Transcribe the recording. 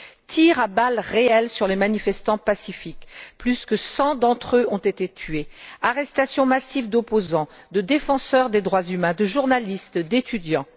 Tirs à balles réelles sur les manifestants pacifiques, plus de cent d'entre eux ont été tués, arrestations massives d'opposants, de défenseurs des droits humains, de journalistes, d'étudiants.